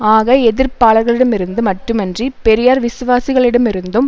ஆக எதிர்ப்பாளர்களிடமிருந்து மட்டுமன்றி பெரியார் விசுவாசிகளிடமிருந்தும்